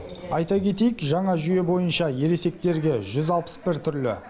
айта кетейік жаңа жүйе бойынша ересектерге жүз алпыс бір түрлі